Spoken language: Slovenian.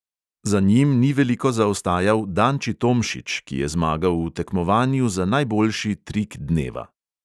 Za njim ni veliko zaostajal danči tomšič, ki je zmagal v tekmovanju za najboljši trik dneva.